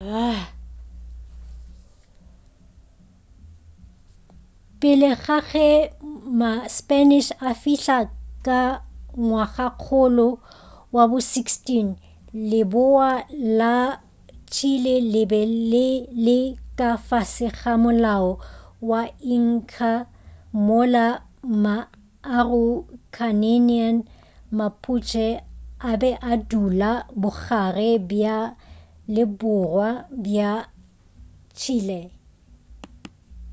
pele ga ge ma spanish a fihla ka ngwagakgolo wa bo 16 leboa la chile le be le le ka fase ga molao wa inca mola ma araucanian mapuche a be a dula bogare bja le borwa bja chile